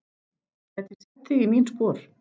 Gæti sett þig í mín spor.